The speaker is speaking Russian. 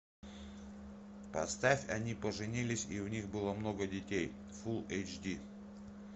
поставь они поженились и у них было много детей фулл эйч ди